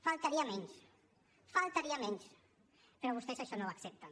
faltaria menys faltaria menys però vostès això no ho accepten